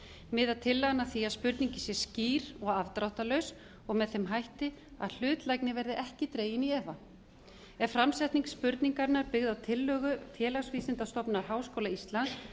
miðar tillagan að því að spurningin sé skýr og afdráttarlaus og með þeim hætti að hlutlægni verði ekki dregin í efa er framsetning spurningarinnar byggð á tillögu félagsvísindastofnunar háskóla íslands